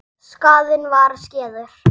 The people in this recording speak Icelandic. Skaðinn var skeður.